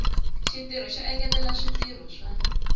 xitirho xo engetela swimila swa